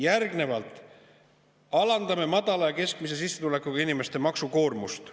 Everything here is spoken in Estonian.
Järgnevalt: alandame madala ja keskmise sissetulekuga inimeste maksukoormust.